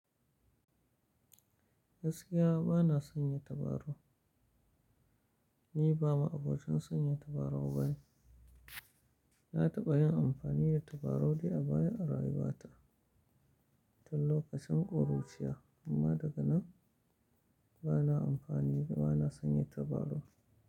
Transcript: Gaskiya bana sanya tabarau, ni ba ma abocin sanya tabarau bane. Na taɓa yin amfani da tabarau dai a baya a rayuwata, tun lokacin ƙuruciya, amma daga nan bana amfani, bana sanya tabarau.